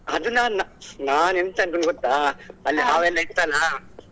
ಅದು ನಾ~ನಾನು ಎಂತ ಅನ್ಕೊಂಡಿದ್ ಗೊತ್ತಾ ಅಲ್ಲಿ ಹಾವೆಲ್ಲ ಇತ್ತಲಾ.